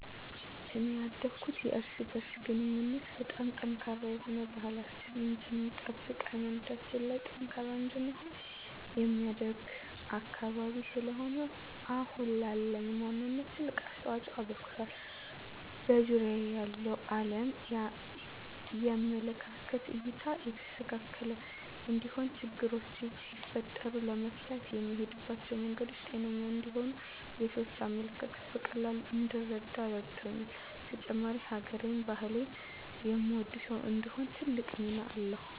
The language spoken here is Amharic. እኔ ያደኩት የእርስ በእርስ ግንኙነቱ በጣም ጠንካራ የሆነ፣ ባህላችንን እንድንጠብቅ ሀይማኖታችን ላይ ጠንካራ እንድንሆን የሚያደርግ አካባቢ ስለሆነ አሁን ላለኝ ማንነት ትልቅ አስተዋፅኦ አበርክቷል። በዙሪያየ ያለውን አለም የምመለከትበት እይታ የተስተካከለ እንዲሆን፣ ችግሮች ሲፈጠሩ ለመፍታት የምሄድባቸው መንገዶች ጤነኛ እንዲሆኑ፣ የሰዎችን አመለካከት በቀላሉ እንድረዳ ረድቶኛል። በተጨማሪም ሀገሬን፣ ባህሌን የምወድ ሰው እንድሆን ትልቅ ሚና አለዉ።